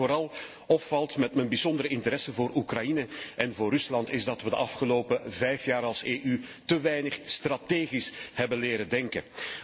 Wat mij vooral opvalt met mijn bijzondere interesse voor Oekraïne en voor Rusland is dat wij de afgelopen vijf jaar als EU te weinig strategisch hebben leren denken.